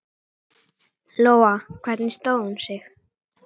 Lóa: Hvernig stóð hún sig?